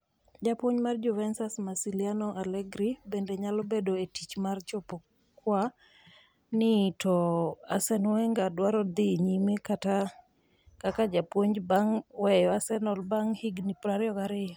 Japuonj mar Juventus, Massimiliano Allegri, bende nyalo bedo e tich mar chopo kua ni, to Arsene Wenger dwaro dhi nyime kaka japuonj bang' weyo Arsenal bang' higni 22.